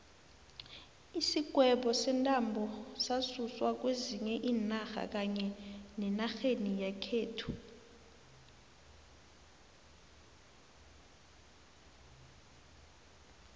isigwebo sentambo sasuswa kwezinye iinarha kanye nenarheni yakhethu